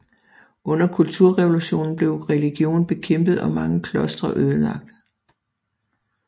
Under kulturrevolutionen blev religion bekæmpet og mange klostre ødelagt